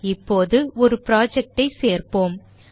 இப்போது ஒரு project ஐ சேர்ப்போம்